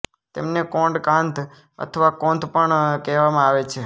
તેમને કોંડ કાંધ અથવા કોંધ પણ કહેવામાં આવે છે